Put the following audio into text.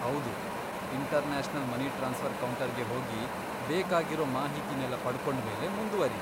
ಹೌದು, international money transfer ಕೌಂಟರ್ಗೆ ಹೋಗಿ ಬೇಕಾಗಿರೋ ಮಾಹಿತಿನೆಲ್ಲ ಪಡ್ಕೊಂಡ್ಮೇಲೆ ಮುಂದ್ವರಿ.